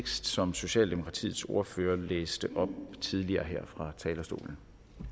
som socialdemokratiets ordfører læste op tidligere fra talerstolen